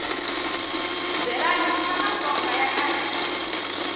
shibhelana ishamatsonga vakahhina